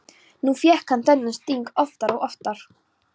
Nú fékk hún þennan sting oftar og oftar.